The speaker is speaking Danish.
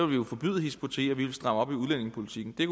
vi jo forbyde hizb ut tahrir vi ville stramme op i udlændingepolitikken det